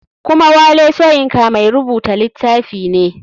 Kuma wole soyinka mai rubuta litafi ne.